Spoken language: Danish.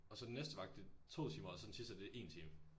Og så den næste vagt det 2 timer og så den sidste det 1 time